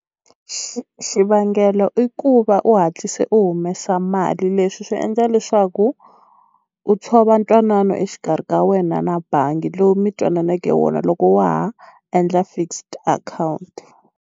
xivangelo i ku va u hatlise u humesa mali leswi swi endla leswaku u tshova ntwanano exikarhi ka wena na bangi lowu mi twananeke wona loko wa ha endla fixed account.